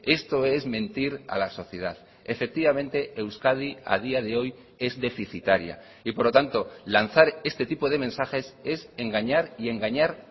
esto es mentir a la sociedad efectivamente euskadi a día de hoy es deficitaria y por lo tanto lanzar este tipo de mensajes es engañar y engañar